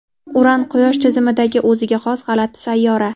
Uran – Quyosh tizimidagi o‘ziga xos g‘alati sayyora.